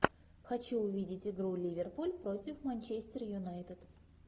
хочу увидеть игру ливерпуль против манчестер юнайтед